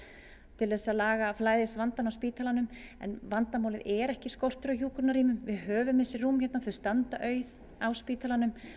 til að laga flæðisvandann á spítalanum vandamálið er ekki skortur á hjúkrunarrýmum við höfum þessi rúm hérna þau standa auð á spítalanum